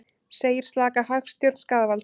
Segir slaka hagstjórn skaðvald